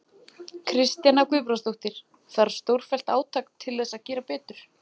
Kristjana Guðbrandsdóttir: Þarf stórfellt átak til þess að gera betur?